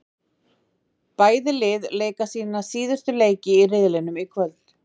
Bæði lið leika sína síðustu leiki í riðlinum í kvöld.